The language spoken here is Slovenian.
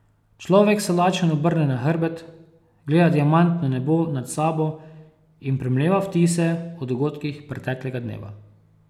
Človek se lačen obrne na hrbet, gleda diamantno nebo nad sabo in premleva vtise o dogodkih preteklega dneva.